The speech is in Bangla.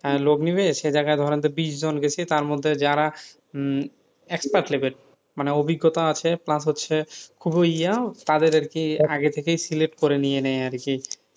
লোক নেবে সে জায়গায় ধরেন যে বিস্ জন গেছে তার মধ্যে যারা মানে অভিজ্ঞতা আছে plus হচ্ছে তাদের কে আগে থেকে select করে নিয়ে নেই আর কি,